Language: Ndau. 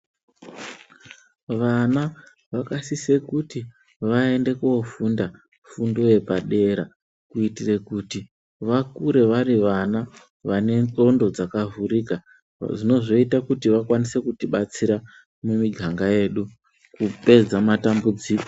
Vana vakasise kuti vaende ko funda fundo yepadera kuitire kuti vakure vari vana vane ndxondo dzaka vhurika dzinozoita kuti vakwanise kutibatsira mu miganga yedu kupedza matambudziko.